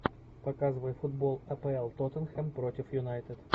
показывай футбол апл тоттенхэм против юнайтед